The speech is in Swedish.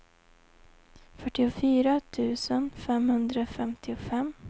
fyrtiofyra tusen femhundrafemtiofem